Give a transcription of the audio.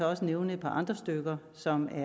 også nævne et par andre stykker som er